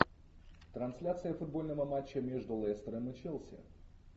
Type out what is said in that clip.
трансляция футбольного матча между лестером и челси